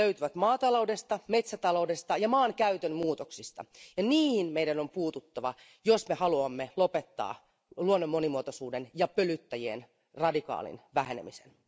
Ne löytyvät maataloudesta, metsätaloudesta ja maankäytön muutoksista, ja niihin meidän on puututtava, jos me haluamme lopettaa luonnon monimuotoisuuden ja pölyttäjien radikaalin vähenemisen.